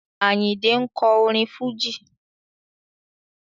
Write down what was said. Àyìndé ń kọ orin Fújì.